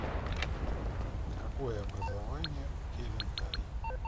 какое образование у кевин тай